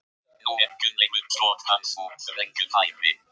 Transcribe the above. Nú er Gunnleifur skot hans úr þröngu færi.